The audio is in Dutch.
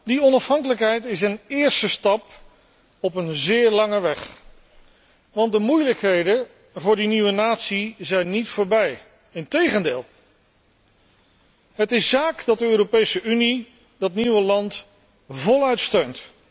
Die onafhankelijkheid is een eerste stap op een zeer lange weg, want de moeilijkheden voor die nieuwe natie zijn niet voorbij. Integendeel. Het is zaak dat de Europese Unie dat nieuwe land voluit steunt.